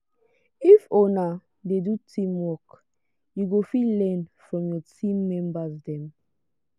if una dey do teamwork you go fit learn from your team member dem.